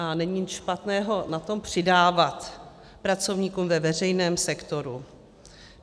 A není nic špatného na tom přidávat pracovníkům ve veřejném sektoru.